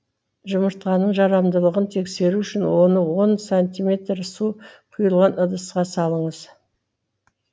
жұмыртқаның жарамдылығын тексеру үшін оны он сантиметр су құйылған ыдысқа салыңыз